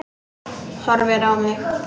Horfir á mig.